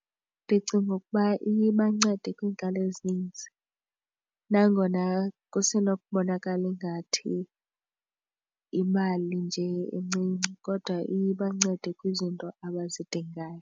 Ndicinga ukuba iye ibancede kwiinkalo ezininzi nangona kusenokubonakala ingathi yimali njee encinci kodwa iye ibancede kwizinto abazidingayo.